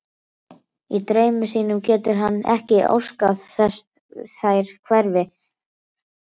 Í draumi sínum getur hann ekki óskað þess þær hverfi.